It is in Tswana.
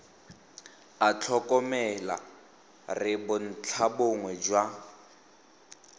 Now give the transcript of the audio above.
a tlhokomela re bontlhabongwe jwa